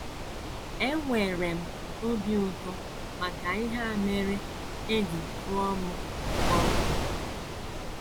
Enwere m obi ụtọ maka ihe a mere e ji tụọ m mkpọrọ. ”